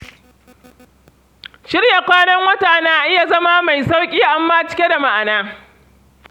Shirya kwanan wata na iya zama mai sauƙi amma cike da ma’ana.